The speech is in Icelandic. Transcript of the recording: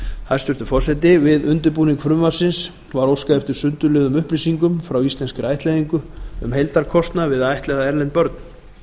hæstvirtur forseti við undirbúning frumvarpsins var óskað eftir sundurliðuðum upplýsingum frá íslenskri ættleiðingu um heildarkostnað við að ættleiða erlend börn